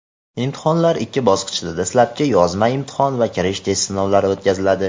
imtihonlar ikki bosqichda – dastlabki yozma imtihon va kirish test sinovlari o‘tkaziladi;.